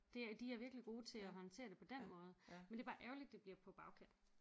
Det er de er virkelig gode til at håndtere det på den måde men det er bare ærgerligt det bliver på bagkant